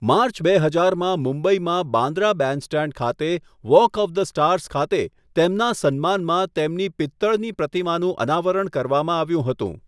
March, બે હજારમાં મુંબઈમાં બાંદ્રા બેન્ડસ્ટેન્ડ ખાતે વોક ઓફ ધ સ્ટાર્સ ખાતે તેમના સન્માનમાં તેમની પિત્તળની પ્રતિમાનું અનાવરણ કરવામાં આવ્યું હતું.